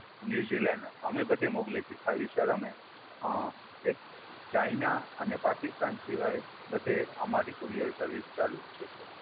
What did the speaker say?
New Zealand અમે બધે મોકલીએ છીએ. ખાલી સર અમે અ એક ચાઈના અને પાકિસ્તાન સિવાય બધે અમારી courier service ચાલુ જ છે સર.